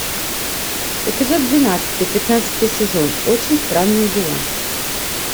эпизод двенадцатый пятнадцатый сезон очень странные дела